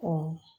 Ɔ